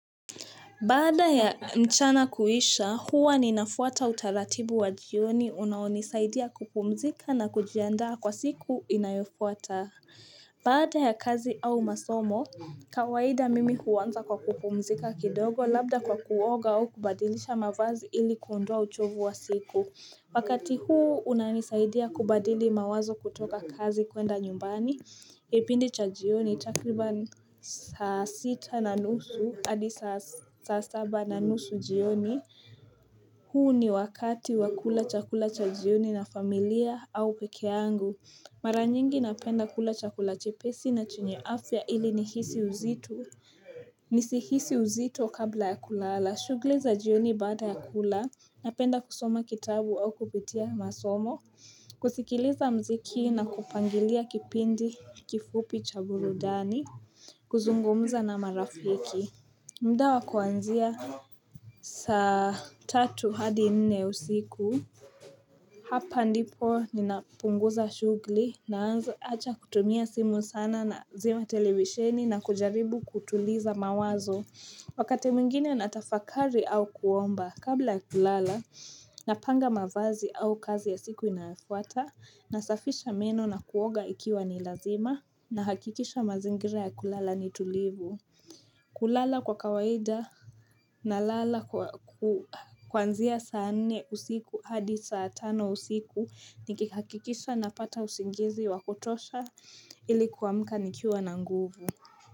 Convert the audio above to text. Baada ya mchana kuisha, huwa ninafuata utaratibu wa jioni unaonisaidia kupumzika na kujiandaa kwa siku inayofuata. Baada ya kazi au masomo, kawaida mimi huanza kwa kupumzika kidogo labda kwa kuoga au kubadilisha mavazi ili kuondoa uchovu wa siku. Wakati huu unanisaidia kubadili mawazo kutoka kazi kuenda nyumbani Kipindi cha jioni takriban saa sita na nusu adi saa saba na nusu jioni huu ni wakati wa kula chakula cha jioni na familia au peke yangu Mara nyingi napenda kula chakula chepesi na chenye afya ili nihisi uzito Nisihisi uzito kabla ya kulala shughli za jioni baada ya kula napenda kusoma kitabu au kupitia masomo kusikiliza mziki na kupangilia kipindi kifupi cha burudani kuzungumuza na marafiki mda wa kuanzia saa tatu hadi nne usiku Hapa ndipo ninapunguza shughli naanza acha kutumia simu sana nazima televisheni na kujaribu kutuliza mawazo Wakati mwingine natafakari au kuomba kabla ya kulala Napanga mavazi au kazi ya siku inayofuata Nasafisha meno na kuoga ikiwa ni lazima Nahakikisha mazingira ya kulala ni tulivu kulala kwa kawaida nalala kuanzia saa nne usiku hadi saa tano usiku Nikihakikisha napata usingizi wa kutosha ili kuamka nikiwa na nguvu.